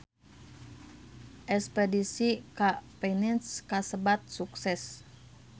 Espedisi ka Venice kasebat sukses